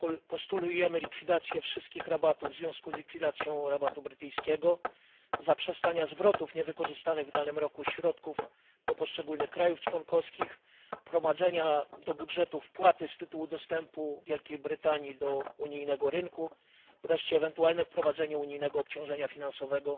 Postulujemy likwidację wszystkich rabatów w związku z likwidacją rabatu brytyjskiego, zaprzestanie zwrotów niewykorzystanych w danym roku środków do poszczególnych państw członkowskich, wprowadzenie do budżetu wpłaty z tytułu dostępu Wielkiej Brytanii do rynku unijnego i wreszcie ewentualne ustanowienie unijnego obciążenia finansowego